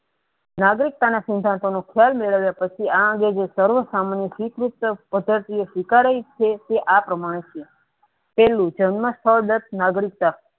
નાગરિકતાના સિદ્ધાંતોનો તથા તેનો ખ્યાલ મેળવ્યા પછી આ અંગે જે સ્વીકારે છે તે આ પ્ર્તમાને છે છેલ્લું જન્મ સ્થળ નાગરિકતા